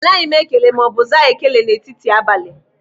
Anaghị m ekele ma ọ bụ aza ekele n'etiti abalị.